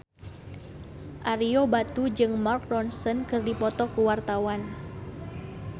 Ario Batu jeung Mark Ronson keur dipoto ku wartawan